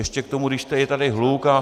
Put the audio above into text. Ještě k tomu, když je tady hluk.